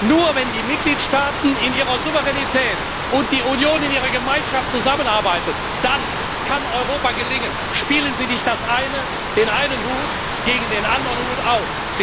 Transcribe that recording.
Nur, wenn die Mitgliedstaaten in ihrer Souveränität und die Union in ihrer Gemeinschaft zusammenarbeiten, nur dann kann Europa gelingen. Spielen Sie nicht den einen Hut gegen den anderen Hut aus.